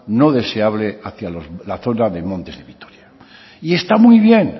no deseable hacia la zona de montes de vitoria y está muy bien